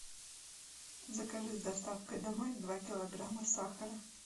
закажи с доставкой домой два килограмма сахара